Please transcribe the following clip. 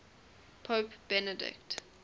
pope benedict